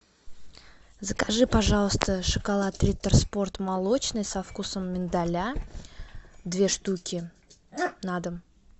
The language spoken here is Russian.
закажи пожалуйста шоколад риттер спорт молочный со вкусом миндаля две штуки на дом